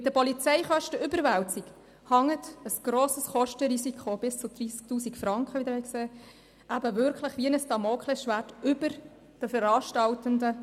Mit der Polizeikostenüberwälzung hängt ein grosses Kostenrisiko von bis zu 30 000 Franken, wie Sie sehen werden, wie ein Damoklesschwert über den Veranstaltenden.